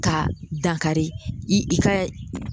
Ka dankari i i ka